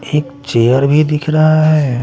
एक चेयर भी दिख रहा हैं।